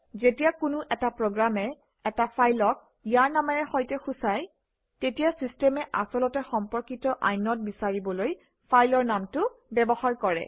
যেতিয়া কোনো এটা প্ৰগ্ৰামে এটা ফাইলক ইয়াৰ নামেৰে সৈতে সূচায় তেতিয়া চিষ্টেমে আচলতে সম্পৰ্কিত ইনদে বিচাৰিবলৈ ফাইলৰ নামটো ব্যৱহাৰ কৰে